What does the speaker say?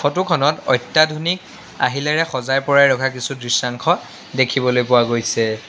Photo খনত অত্যাধুনিক আহিলাৰে সজাই পৰাই ৰখা কিছু দৃশ্যাংশ দেখিবলৈ পোৱা গৈছে।